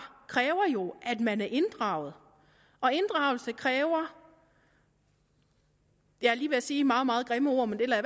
kræver jo at man er inddraget og inddragelse kræver jeg er lige ved at sige et meget meget grimt ord men det lader